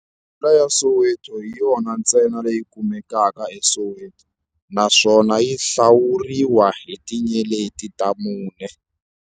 Hodela ya Soweto hi yona ntsena leyi kumekaka eSoweto, naswona yi hlawuriwa hi tinyeleti ta mune.